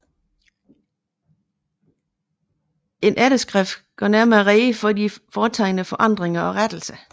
En efterskrift gør nærmere rede for de foretagne forandringer og rettelser